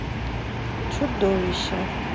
чудовище